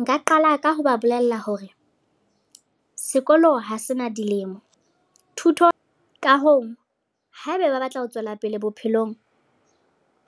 Nka qala ka ho ba bolella hore, sekolo ha se na dilemo. Thuto, ka hoo haeba ba batla ho tswela pele bophelong,